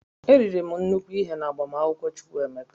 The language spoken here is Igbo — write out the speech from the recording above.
E riri m nnukwu nri na agbamakwụkwọ Chukwu emeka.